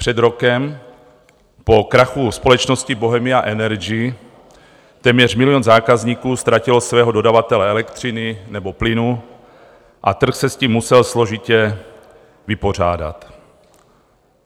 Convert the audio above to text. Před rokem po krachu společnosti Bohemia Energy téměř milion zákazníků ztratilo svého dodavatele elektřiny nebo plynu a trh se s tím musel složitě vypořádat.